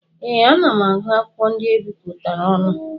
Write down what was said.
Ee, ana m agụ akwụkwọ ndị ebipụtara ọnụ.